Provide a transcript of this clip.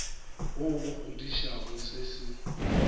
wo o kgodišang se se